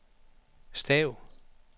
stav